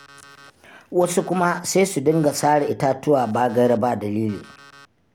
Wasu kuma sai su dinga sare itatuwa ba gaira ba dalili.